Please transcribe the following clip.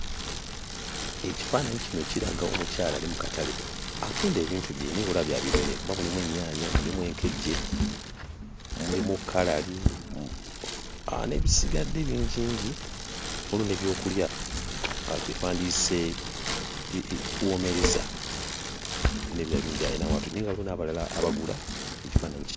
Ekifaananyi kino kiraga omukyala ali mu katale atunda bintu bye naye ng'olaba bya birime kuba mulimu ennyaanya, mulimu enkejje, mulimu kkalali n'ebisigadde bingingi. Waliwo n'ebyokulya, kye twandiyise ee woomerezza, n'ebirala bingi alina w'atudde, naye nga waliwo n'abalala abagula, ky'ekifaananyi kino.